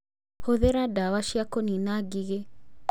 Hũthĩra ndawa cia kũniina ngigĩ